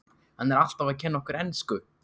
Hann er alltaf að kenna okkur ensku!